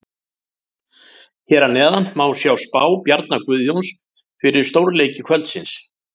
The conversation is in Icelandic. Hér að neðan má sjá spá Bjarna Guðjóns fyrir stórleiki kvöldsins.